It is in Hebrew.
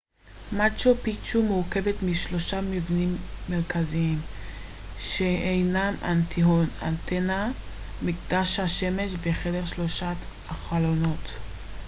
מאצ'ו פיצ'ו מורכבת משלושה מבנים מרכזיים שהינם אינטיהואטאנה מקדש השמש וחדר שלושת החלונות